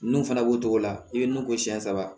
N'u fana b'o cogo la i bɛ nun ko siyɛn saba